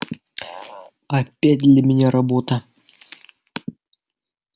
опять для меня работа